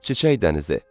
çiçək dənizi.